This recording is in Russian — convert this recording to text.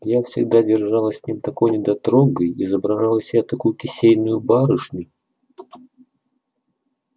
я всегда держалась с ним такой недотрогой изображала из себя такую кисейную барышню